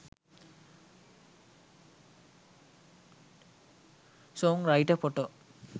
song writer photo